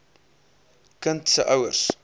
kind se ouers